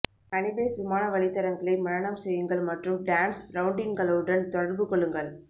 ஹனிபேஸ் விமான வழித்தடங்களை மனனம் செய்யுங்கள் மற்றும் டான்ஸ் ரவுண்டின்களுடன் தொடர்பு கொள்ளுங்கள்